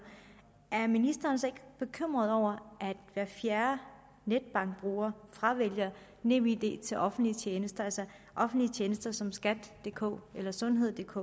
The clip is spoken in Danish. er ministeren så ikke bekymret over at hver fjerde netbankbruger fravælger nemid til offentlige tjenester altså offentlige tjenester som skatdk eller sundheddk